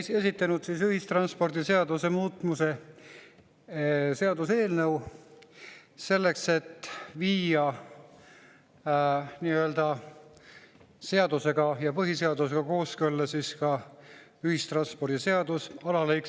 Olen esitanud ühistranspordiseaduse muutmise seaduse eelnõu, selleks et viia nii-öelda seadusega ja põhiseadusega kooskõlla ühistranspordiseaduse taksonduse alalõik.